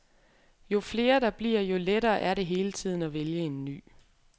Jo flere der bliver, jo lettere er det hele tiden at vælge en ny.